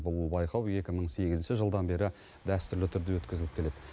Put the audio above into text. бұл байқау екі мың сегізінші жылдан бері дәстүрлі түрде өткізіліп келеді